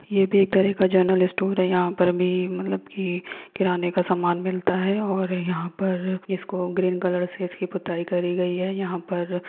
ये भी एक तरह का जनरल स्टोर है यहाँ पर भी मतलब की किराने का सामान मिलता है और यहाँ पर इसको ग्रीन कलर से इसकी पुताई करि गई है यहाँ पर --